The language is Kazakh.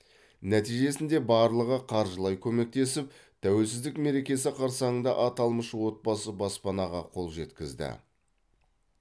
нәтижесінде барлығы қаржылай көмектесіп тәуелсіздік мерекесі қарсаңында аталмыш отбасы баспанаға қол жеткізді